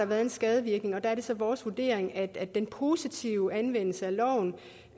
været en skadevirkning og der er det så vores vurdering at den positive anvendelse af loven